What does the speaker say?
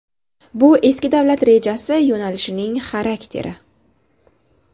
Bu eski davlat rejasi yo‘nalishining xarakteri.